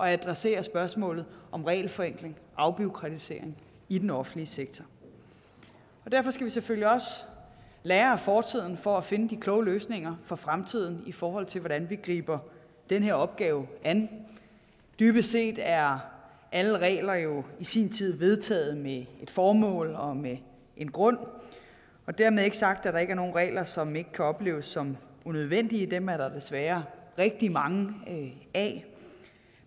at adressere spørgsmålet om regelforenkling og afbureaukratisering i den offentlige sektor og derfor skal vi selvfølgelig også lære af fortiden for at finde de kloge løsninger for fremtiden i forhold til hvordan vi griber den her opgave an dybest set er alle regler jo i sin tid vedtaget med et formål og med en grund dermed ikke sagt at der ikke er nogen regler som ikke kan opleves som unødvendige dem er der desværre rigtig mange af